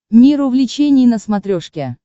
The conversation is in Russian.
мир увлечений на смотрешке